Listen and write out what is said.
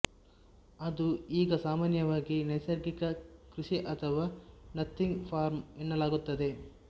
ಅದು ಈಗ ಸಾಮಾನ್ಯವಾಗಿ ನೈಸರ್ಗಿಕ ಕೃಷಿ ಅಥವಾ ನಥಿಂಗ್ ಫಾರ್ಮ್ ಎನ್ನಲಾಗುತ್ತದೆ